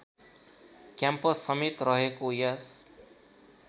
campus समेत रहेको यस